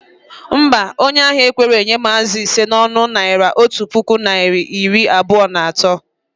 Mba, onye ahia ekwerọ enye m azụ ise na ọnụ Naira otu puku narị na iri abụọ na atọ